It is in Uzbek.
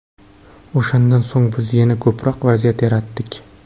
O‘shandan so‘ng biz yanada ko‘proq vaziyat yaratdik.